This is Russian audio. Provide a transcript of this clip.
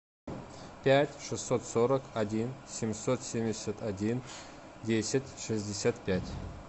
пять шестьсот сорок один семьсот семьдесят один десять шестьдесят пять